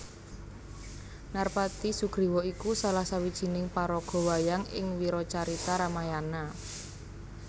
Narpati Sugriwa iku salah sawijining paraga wayang ing wiracarita Ramayana